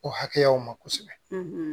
O hakɛyaw ma kosɛbɛ